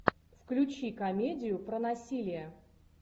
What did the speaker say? включи комедию про насилие